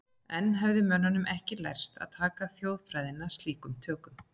Enn hafði mönnum ekki lærst að taka þjóðfræðina slíkum tökum.